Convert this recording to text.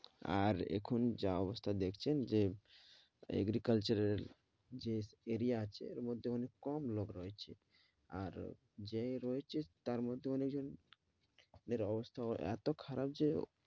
আর এখন যা অবস্থা দেখছেন যে agriculture এর যে area আছে ওর মধ্যে অনেক কম লোক রয়েছে আর যে রয়েছে তার মধ্যে অনেক জন দের অবস্থা আবার এতো খারাপ যে